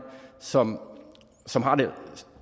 som som har det